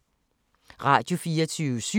Radio24syv